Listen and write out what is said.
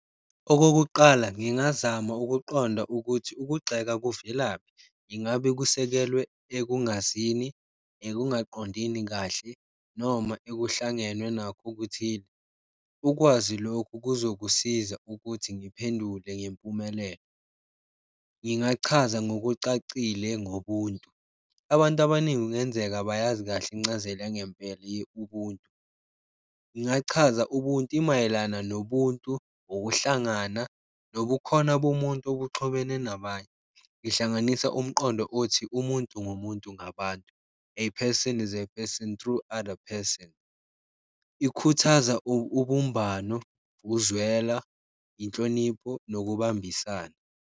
Okokuqala ngingazama ukuqonda ukuthi ukugxeka kuvelaphi. Ingabe kusekelwe ekungazini, ekungaqondini kahle noma ekuhlangenwe nakho okuthile? Ukwazi lokhu kuzokusiza ukuthi ngiphendule ngempumelelo. Ngingachaza ngokucacile ngobuntu. Abantu abaningi kungenzeka abayazi kahle incazelo yangempela ye-Ubuntu. Ngingachaza Ubuntu, imayelana nobuntu, ukuhlangana, nobukhona bomuntu obuxhobene nabanye. Ihlanganisa umqondo othi, umuntu ngumuntu ngabantu, a person is a person through other person. Ikhuthaza ubumbano, uzwela, inhlonipho, nokubambisana.